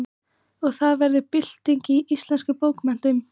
Og það varð bylting í íslenskum bókmenntum.